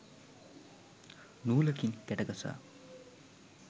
නූලකින් ගැට ගසා